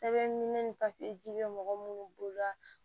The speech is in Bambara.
Sɛbɛn ni papiye bɛ mɔgɔ minnu bolo la